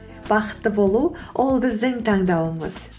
бақытты болу ол біздің таңдауымыз